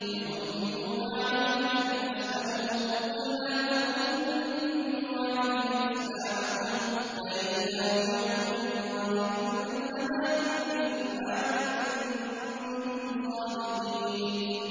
يَمُنُّونَ عَلَيْكَ أَنْ أَسْلَمُوا ۖ قُل لَّا تَمُنُّوا عَلَيَّ إِسْلَامَكُم ۖ بَلِ اللَّهُ يَمُنُّ عَلَيْكُمْ أَنْ هَدَاكُمْ لِلْإِيمَانِ إِن كُنتُمْ صَادِقِينَ